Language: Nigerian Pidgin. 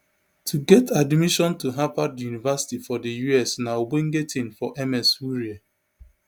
to get admission to harvard university for di us na ogbonge tin for ms wurie